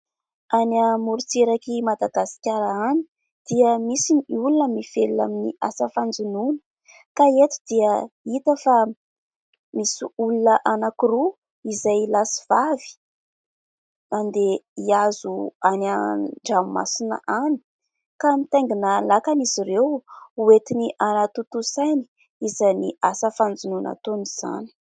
Any amorontsirak'i Madagasikara any dia misy ny olona mivelona amin'ny asa fanjonoana, ka eto dia hita fa misy olona anankiroa izay lahy sy vavy andeha hihazo any an-dramomasina any, ka mitaingina lakana izy ireo hoentiny hanatontosainy izany asa fanjonoana ataony izany.